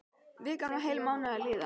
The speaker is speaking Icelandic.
Vikan var heilan mánuð að líða.